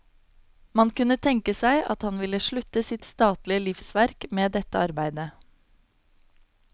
Man kunne tenke seg at han ville slutte sitt statlige livsverk med dette arbeide.